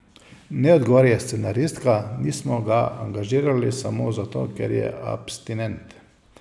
Ne, odgovarja scenaristka, nismo ga angažirali samo zato, ker je abstinent.